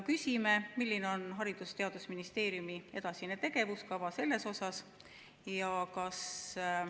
Küsime, milline on Haridus- ja Teadusministeeriumi edasine tegevuskava selles vallas.